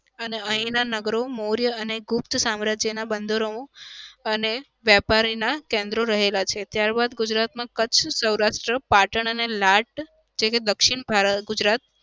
અને અહિયાંના નગરો મૌર્યે અને ગુપ્ત સામ્રાજ્યના બંદરો અને વેપારીના કેન્દ્રો રહેલા છે. ત્યારબાદ ગુજરાતમાં કચ્છ, સૌરાષ્ટ્ર, પાટણ અને લાટ જેવા કે દક્ષિણ ભાર ગુજરાત